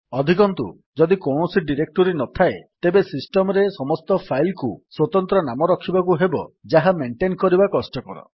ଅଧିକନ୍ତୁ ଯଦି କୌଣସି ଡିରେକ୍ଟୋରୀ ନଥାଏ ତେବେ ସିଷ୍ଟମ୍ ରେ ସମସ୍ତ ଫାଇଲ୍ କୁ ସ୍ୱତନ୍ତ୍ର ନାମ ରଖିବାକୁ ହେବ ଯାହା ମେଣ୍ଟେନ୍ କରିବା କଷ୍ଟକର